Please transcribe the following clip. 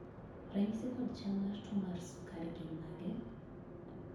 ranyisi kod chal mar tuo mar sukari gin mage?